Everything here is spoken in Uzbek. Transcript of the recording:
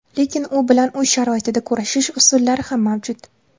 Lekin bu bilan uy sharoitida kurashish usullari ham mavjud.